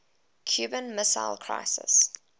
cuban missile crisis